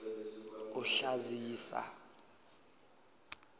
kuhlazisa